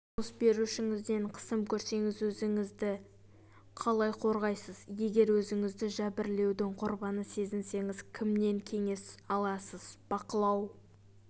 жұмыс берушіңізден қысым көрсеңіз өзіңізді қалай қорғайсыз егер өзіңізді жәбірлеудің құрбаны сезінсеңіз кімнен кеңес аласыз бақылау